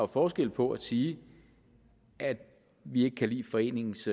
forskel på at sige at vi ikke kan lide foreningens